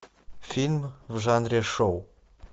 фильм в жанре шоу